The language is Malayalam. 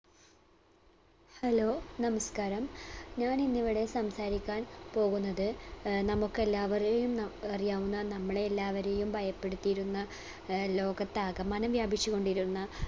Hello നമസ്കാരം. ഞാനിന്നിവിടെ സംസാരിക്കാൻ പോകുന്നത് ഏർ നമ്മക്കെല്ലാവരെയും ന അറിയാവുന്ന നമ്മളെയെല്ലാവരെയും ഭയപ്പെടുത്തിയിരുന്ന അഹ് ലോകത്താകമാനം വ്യാപിച്ചു കൊണ്ടിരുന്ന